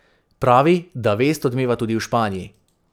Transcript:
Pravi, da vest odmeva tudi v Španiji.